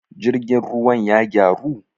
jirgin ruwan ya gyaru?